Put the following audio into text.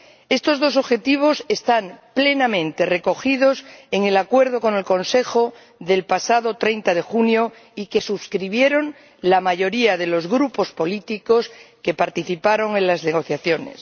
Estos dos objetivos están plenamente recogidos en el acuerdo con el Consejo del pasado 30 de junio y que suscribieron la mayoría de los grupos políticos que participaron en las negociaciones.